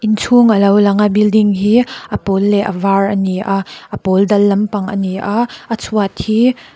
inchhung alo lang a building hi a pawl leh a var ani a a pawl dal lampang ani a a chhuat hi--